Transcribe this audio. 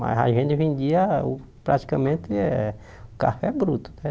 Mas a gente vendia o praticamente eh café bruto, né?